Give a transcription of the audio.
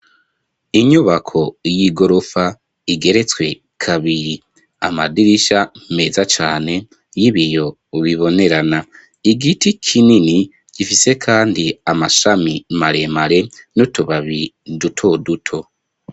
Inyubako y'igorofa igeretswe kabiri amadirisha meza cane y'ibiyo bibonerana igiti kinini gifise kandi amashami maremare n'utubabi duto duto.